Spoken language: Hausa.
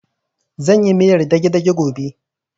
Zan yi miyar dage-dage gobe